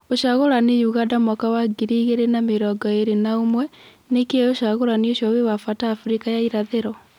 Ũcagũrani Ũganda mwaka wa ngiri ĩgĩrĩ na mĩrongo ĩrĩ na ũmwe:Nĩkĩ ũcagũrani ũcio wĩ wa bata Afrika ya Irathĩrwo.